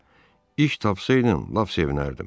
Ağa, iş tapsaydın, lap sevinərdim.